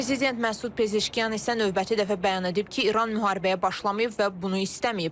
Prezident Məsud Pezişkyan isə növbəti dəfə bəyan edib ki, İran müharibəyə başlamayıb və bunu istəməyib.